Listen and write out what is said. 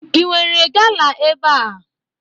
Inwere gala ebe a?